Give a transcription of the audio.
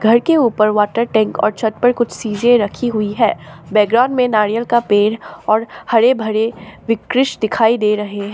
घर के ऊपर वॉटर टैंक और छत पर कुछ चीजे रखी हुई है बैकग्राउंड में नारियल का पेड़ और हरे भरे विकृस दिखाई दे रहे हैं।